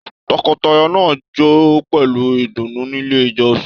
Tọkọtaya náà jó pẹlú ìdùnnú nílé ìjọsìn.